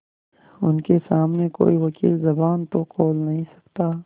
उनके सामने कोई वकील जबान तो खोल नहीं सकता